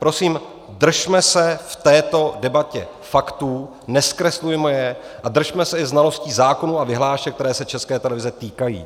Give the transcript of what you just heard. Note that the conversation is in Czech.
Prosím, držme se v této debatě faktů, nezkreslujme je a držme se i znalostí zákonů a vyhlášek, které se České televize týkají.